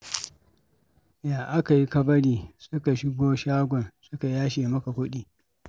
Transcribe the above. Ya aka yi ka bari suka shigo shagon suka yashe maka kuɗi?